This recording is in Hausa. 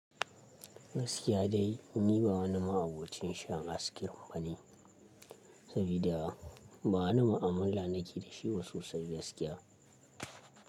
Gaskiya dai ni ba wani ma'abocin shan ice cream bane, sabida ba wani ma'amala nake da shi sosai gaskiya.